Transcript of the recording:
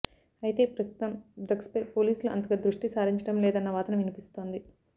అయితే ప్రస్తుతం డ్రగ్స్ పై పోలీసులు అంతగా దృష్టి సారించటం లేదన్న వాదన వినిపిస్తోంది